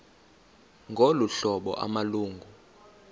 ngolu hlobo amalungu